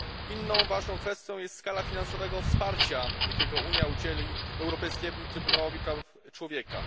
Inną ważną kwestią jest skala finansowego wsparcia, jakiego Unia udzieli Europejskiemu Trybunałowi Praw Człowieka.